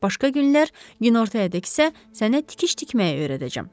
Başqa günlər günortayadək isə sənə tikiş tikməyi öyrədəcəm.